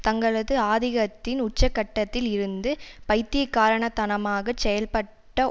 தங்களது ஆதிக்கத்தின் உச்சகட்டத்தில் இருந்து பைத்தியக்காரத்தனமாகச் செயல்பட்ட